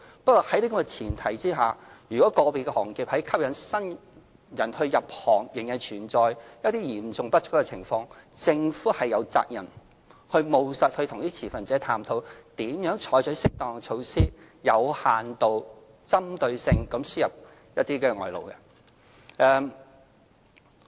不過，大家也要思考，在這前提下，如果個別行業在吸引新人入行時，仍面對人手嚴重不足的情況，政府有責任務實地與持份者探討如何採取適當的措施，有限度及針對性地輸入外勞。